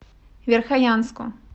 верхоянску